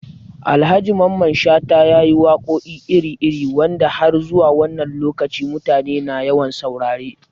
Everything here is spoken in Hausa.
Alhaji Mamman Shata ya yi waƙoƙi iri-iri wanda har zuwa wannan lokaci mutane na yawan saurare